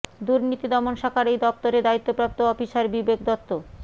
দুর্নীতি দমন শাখার এই দফতরের দায়িত্বপ্রাপ্ত অফিসার বিবেক দত্ত